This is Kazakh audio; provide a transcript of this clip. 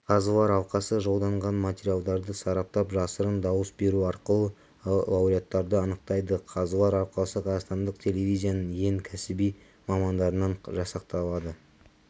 қазылар алқасы жолданған материалдарды сараптап жасырын дауыс беру арқылы лауреаттарды анықтайды қазылар алқасы қазақстандық телевизияның ең кәсіби мамандарынан жасақталады